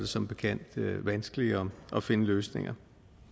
som bekendt vanskeligere at finde løsninger